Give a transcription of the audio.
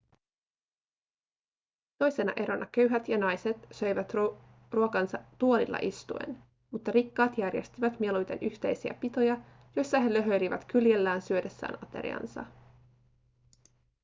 toisena erona köyhät ja naiset söivät ruokansa tuolilla istuen mutta rikkaat järjestivät mieluiten yhteisiä pitoja joissa he löhöilivät kyljellään syödessään ateriansa